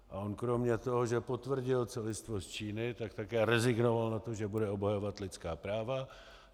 A on kromě toho, že potvrdil celistvost Číny, tak také rezignoval na to, že bude obhajovat lidská práva.